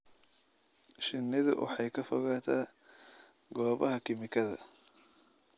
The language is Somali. Shinnidu waxay ka fogaataa goobaha kiimikada.